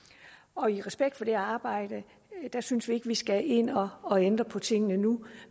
og i respekt for det arbejde synes vi ikke at vi skal ind og og ændre på tingene nu